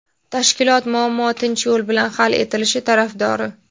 Tashkilot muammo tinch yo‘l bilan hal etilishi tarafdori.